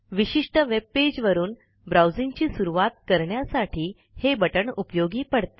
विशिष्ट वेब पेजवरून ब्राऊजिंगची सुरवात करण्यासाठी हे बटण उपयोगी पडते